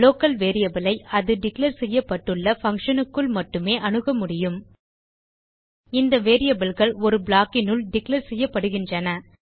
local variable ஐ அது declare செய்யப்பட்டுள்ள பங்ஷன் க்குள் மட்டுமே அணுக முடியும் இந்த variableகள் ஒரு ப்ளாக் னுள் டிக்ளேர் செய்யப்படுகின்றன